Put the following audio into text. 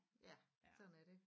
Ja sådan er det